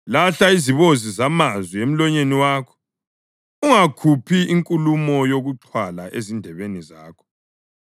Lahla izibozi zamazwi emlonyeni wakho; ungakhuphi inkulumo yokuxhwala ezindebeni zakho.